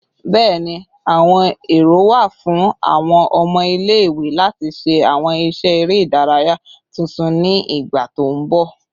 Bẹẹni, awọn ero wa fun awọn ọmọ ile-iwe lati ṣe awọn iṣẹ ere idaraya tuntun ni igba to nbọ